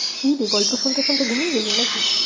কি রে গল্প শুনতে শুনতে ঘুমিয়ে গেলি না কি?